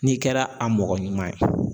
N'i kɛra a mɔgɔ ɲuman ye